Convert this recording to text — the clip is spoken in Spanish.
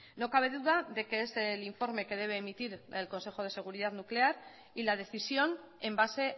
no cabe duda de que es el informe que debe emitir el consejo de seguridad nuclear y la decisión en base